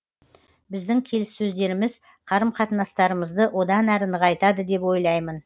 біздің келіссөздеріміз қарым қатынастарымызды одан әрі нығайтады деп ойлаймын